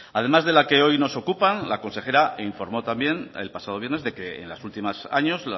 además de la que hoy nos ocupa la consejera informó también el pasado viernes de que en los últimos años